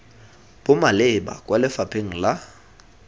bo maleba kwa lefapheng la